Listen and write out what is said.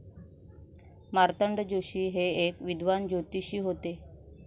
मार्तंड जोशी हे एक विद्वान ज्योतिषी होते.